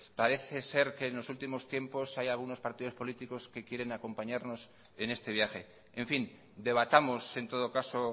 parece ser que en los últimos tiempos hay algunos partidos políticos que quieren acompañarnos en este viaje en fin debatamos en todo caso